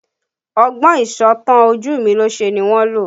Ọgbọ́n ìsọ̀tàn ojumilose ni wọ́n lò